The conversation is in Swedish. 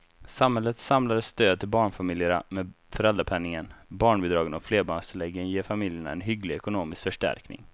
Samhällets samlade stöd till barnfamiljerna med föräldrapenningen, barnbidragen och flerbarnstilläggen ger familjerna en hygglig ekonomisk förstärkning.